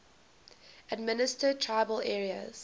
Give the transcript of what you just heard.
administered tribal areas